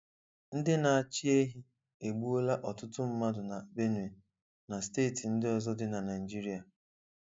Ndị na achịehi egbụ'la ọtụtụ mmadụ na Benue na steeti ndị ọzọ dị na Naịjirịa